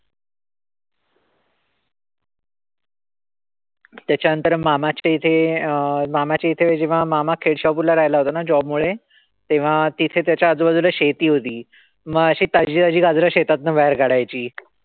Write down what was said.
त्याच्यानंतर मामाचे इथे मामाच्या इथे जेव्हा मामा केशवापूर ला राहायला होता ना job मुळे. तेव्हा तिथे त्याच्या आजूबाजूला शेती होती. म अशे ताजेताजे गाजरं शेतातनं बाहेर काढायची.